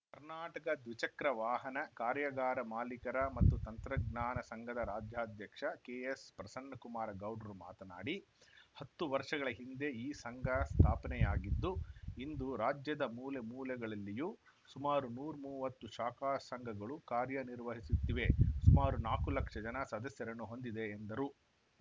ಕರ್ನಾಟಕ ದ್ವಿಚಕ್ರ ವಾಹನ ಕಾರ್ಯಾಗಾರ ಮಾಲೀಕರ ಮತ್ತು ತಂತ್ರಜ್ಞಾನ ಸಂಘದ ರಾಜ್ಯಾಧ್ಯಕ್ಷ ಕೆಎಸ್‌ಪ್ರಸನ್ನಕುಮಾರ ಗೌಡ್ರು ಮಾತನಾಡಿ ಹತ್ತು ವರ್ಷಗಳ ಹಿಂದೆ ಈ ಸಂಘ ಸ್ಥಾಪನೆಯಾಗಿದ್ದು ಇಂದು ರಾಜ್ಯದ ಮೂಲೆ ಮೂಲೆಗಳಲ್ಲಿಯೂ ಸುಮಾರು ನೂರ್ಮೂವತ್ತು ಶಾಖಾ ಸಂಘಗಳು ಕಾರ್ಯನಿರ್ವಹಿಸುತ್ತಿವೆ ಸುಮಾರು ನಾಲ್ಕು ಲಕ್ಷ ಜನ ಸದಸ್ಯರನ್ನು ಹೊಂದಿದೆ ಎಂದರು